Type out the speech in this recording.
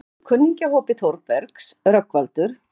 Einn úr kunningjahópi Þórbergs, Rögnvaldur